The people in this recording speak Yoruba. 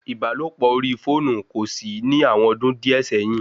Ìbálòpọ̀ orí fóònù kòsí ní àwọn ọdún díẹ̀ sẹ́yìn